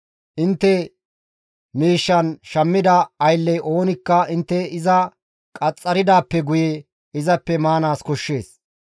Intte miishshan shammida aylley oonikka intte iza qaxxaridaappe guye izappe maanaas koshshees.